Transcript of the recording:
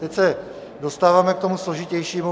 Teď se dostáváme k tomu složitějšímu.